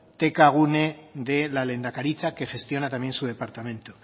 tkgune de la lehendakaritza que gestiona también su departamento